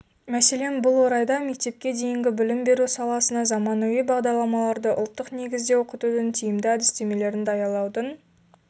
мәселен бұл орайда мектепке дейінгі білім беру саласына заманауи бағдарламаларды ұлттық негізде оқытудың тиімді әдістемелерін даярлаудың